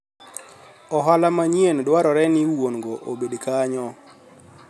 ohala manyien dwarore ni wuon go obed kanyo